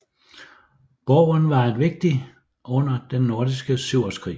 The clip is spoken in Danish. Borgen var en vigtig under Den Nordiske Syvårskrig